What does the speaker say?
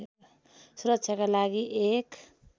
सुरक्षाका लागि एक